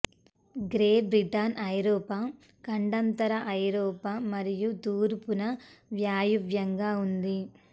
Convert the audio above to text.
great Britain ఐరోపా ఖండాంతర ఐరోపా మరియు తూర్పున వాయువ్యంగా ఉంది